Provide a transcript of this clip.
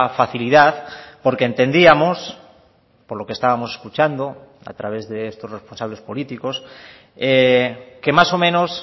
facilidad porque entendíamos por lo que estábamos escuchando a través de estos responsables políticos que más o menos